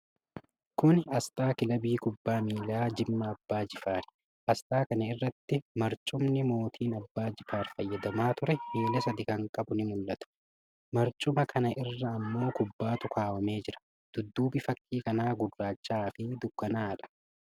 Kuni asxaa kilabii kubbaa miilaa Jimmaa Abbaa Jifaari. Asxaa kana irratti marcumni mootiin Abbaa Jifaar fayyadamaa ture, miila sadi kan qabu nii mul'ata. Marcuma kana irra ammoo kubbaatu kaawwamee jira. dudduubi fakkii kana gurraacha'aa fi dukkanaa'adha.